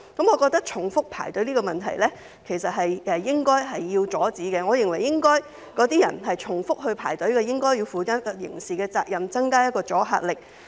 我覺得重複排隊這個問題是應該阻止的，我認為重複排隊的那些人應該負上刑責，以增加阻嚇力。